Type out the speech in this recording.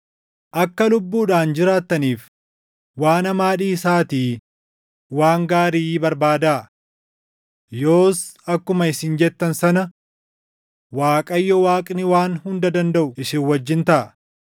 Akka lubbuudhaan jiraattaniif waan hamaa dhiisaatii waan gaarii barbaadaa. Yoos akkuma isin jettan sana Waaqayyo Waaqni Waan Hunda Dandaʼu isin wajjin taʼa.